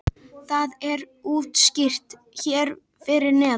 Það er útskýrt hér fyrir neðan.